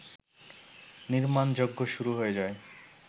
নির্মাণযজ্ঞ শুরু হয়ে যায়